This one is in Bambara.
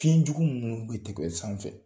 Fiɲɛ jugu minnu bɛ tɛgɛ sanfɛ